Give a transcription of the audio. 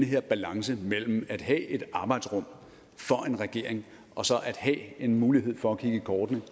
her balance mellem at have et arbejdsrum for en regering og så at have en mulighed for at kigge i kortene